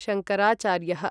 शाङ्कराचार्यः